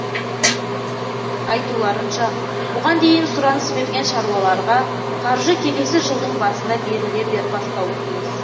айтуларынша бұған дейін сұраныс берген шаруаларға қаржы келесі жылдың басында беріле бастауы тиіс